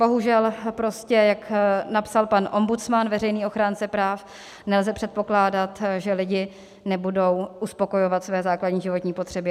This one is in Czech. Bohužel, prostě jak napsal pan ombudsman, veřejný ochránce práv, nelze předpokládat, že lidi nebudou uspokojovat své základní životní potřeby.